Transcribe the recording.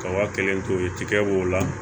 Ka waa kelen to yen tigɛw b'o la